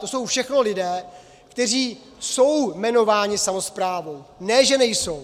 To jsou všechno lidé, kteří jsou jmenováni samosprávou, ne že nejsou.